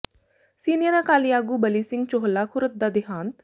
senior Akali ਆਗੂ ਬਲੀ ਸਿੰਘ ਚੋਹਲਾ ਖੁਰਦ ਦਾ ਦਿਹਾਂਤ